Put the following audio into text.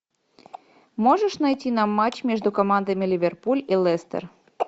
можешь найти нам матч между командами ливерпуль и лестер